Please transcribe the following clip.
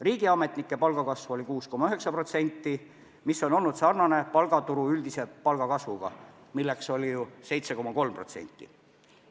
Riigiametnike palk kasvas 6,9%, mis on olnud sarnane palgaturu üldise palgakasvuga, milleks oli ju 7,3%.